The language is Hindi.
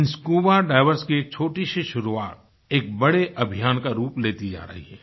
इन स्कूबा डाइवर्स की छोटीसी शुरुआत एक बड़े अभियान का रूप लेती जा रही है